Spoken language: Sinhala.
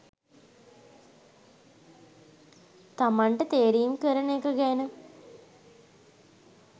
තමන්ට තේරීම් කරන එක ගැන